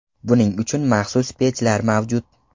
Buning uchun maxsus pechlar mavjud.